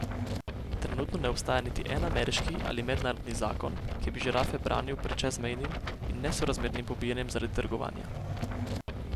Trenutno ne obstaja niti en ameriški ali mednarodni zakon, ki bi žirafe branil pred čezmejnim in nesorazmernim pobijanjem zaradi trgovanja.